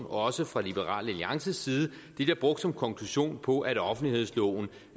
også fra liberal alliances side bliver brugt som konklusion på at offentlighedsloven